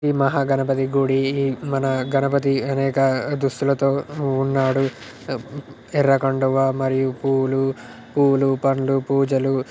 ఇది మహా గణపతి గుడి మన గణపతి అనేక దుస్తుల తో ఉన్నాడు. ఉమ్ ఎర్ర కండువా మరియు పువ్వులు పూలు పండ్లు పూజలు--